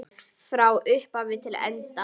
Frá upphafi til enda.